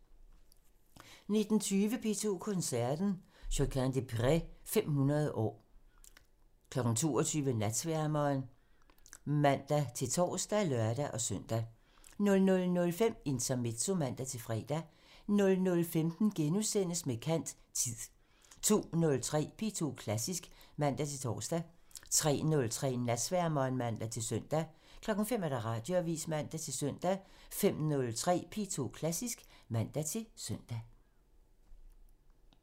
19:20: P2 Koncerten – Josquin des Prez – 500 år 22:00: Natsværmeren (man-tor og lør-søn) 00:05: Intermezzo (man-fre) 00:15: Med kant – Tid * 02:03: P2 Klassisk (man-tor) 03:03: Natsværmeren (man-søn) 05:00: Radioavisen (man-søn) 05:03: P2 Klassisk (man-søn)